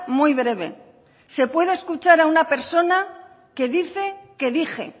muy breve se puede escuchar a una personas que dice que dije